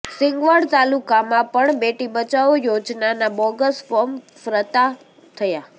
સિંગવડ તાલુકામાં પણ બેટી બચાવો યોજનાનાં બોગસ ફોર્મ ફ્રતા થયા